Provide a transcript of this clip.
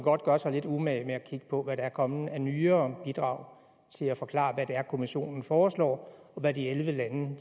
godt gøre sig lidt umage med at kigge på hvad der er kommet af nyere bidrag til at forklare hvad det er kommissionen foreslår og hvad de elleve lande